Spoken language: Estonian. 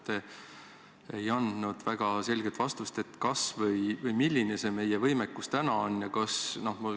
Te ei andnud väga selget vastus, milline meie võimekus täna on.